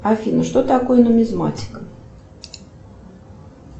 афина что такое нумизматика